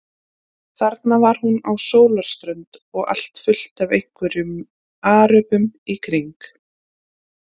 Þarna var hún á sólarströnd og allt fullt af einhverjum aröbum í kring.